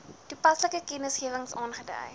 toepaslike kennisgewings aangedui